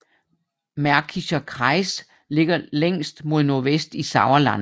Märkischer Kreis ligger længst mod nordvest i Sauerland